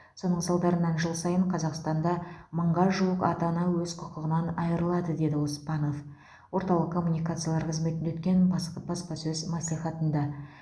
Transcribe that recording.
соның салдарынан жыл сайын қазақстанда мыңға жуық ата ана өз құқығынан айырылады деді оспанов орталық коммуникациялар қызметінде өткен баспасөз мәслихатында